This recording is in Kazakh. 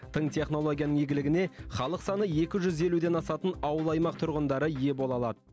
тың технологияның игілігіне халық саны екі жүз елуден асатын ауыл аймақ тұрғындары ие бола алады